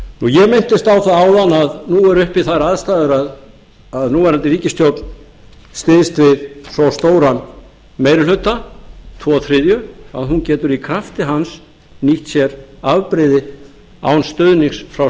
ég minntist á það áðan að nú eru uppi þær aðstæður að núverandi ríkisstjórn styðst við svo stóran meiri hluta tvo þriðju að hún getur í krafti hans nýtt sér afbrigði án stuðnings frá